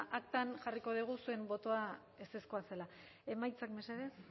aktan jarriko dugu zuen botoa ezezkoa zela bozketaren emaitzak mesedez